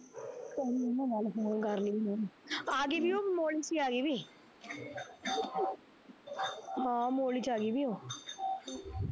ਕਰਲੀ ਨਾ ਗੱਲ phone ਕਰਲੀ ਓਹਨੂੰ, ਆਗੀ ਵੀ ਉਹ ਮੋਹਲੀ ਚ ਈ ਆਗੀ ਵੀ ਉਹ ਹਾਂ ਮੋਹਲੀ ਚ ਆਗੀ ਵੀ ਉਹ